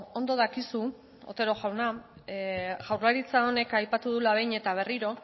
ondo dakizu otero jauna jaurlaritza honek aipatu duela behin eta berriro